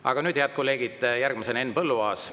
Aga nüüd, head kolleegid, järgmisena Henn Põlluaas.